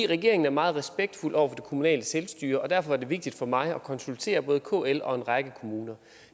regeringen er meget respektfuld over for kommunale selvstyre og derfor er det vigtigt for mig at konsultere både kl og en række kommuner